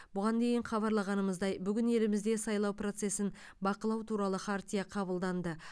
бұған дейін хабарлағанымыздай бүгін елімізде сайлау процесін бақылау туралы хартия қабылданды